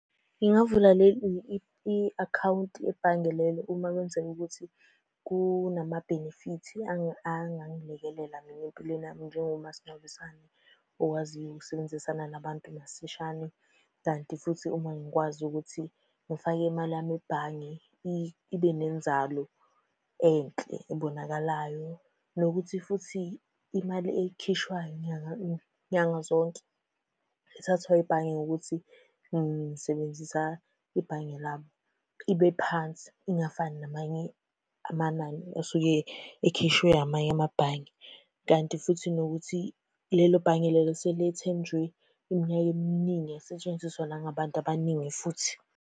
Ngingavula i-akhawunti yebhange lelo uma kwenzeka ukuthi kunamabhenefithi angangilekelela mina empilweni yami njengomasingcwabisane okwaziyo ukusebenzisana nabantu masishane, kanti futhi uma ngikwazi ukuthi ngifake imali yami ebhange ibe nenzalo enhle ebonakalayo. Nokuthi futhi imali ekhishwayo nyanga nyanga zonke, ethathwayo ebhange ngokuthi ngisebenzisa ibhange labo, ibe phansi ingafani namanye amanani osuke ekhishwe amanye amabhange. Kanti futhi nokuthi lelo bhange lelo selethenjwe iminyaka eminingi yasetshenziswa nangabantu abaningi futhi.